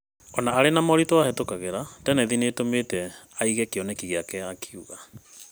O na arĩ na moritũ ahĩtũkagira, tenethi nĩ ĩtũmĩte aige kĩoneki gĩake,' akiuga.